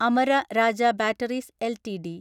Amara Raja batteries LTD